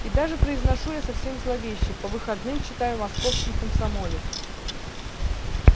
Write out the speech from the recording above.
и даже произношу я совсем зловеще по выходным читаю московский комсомолец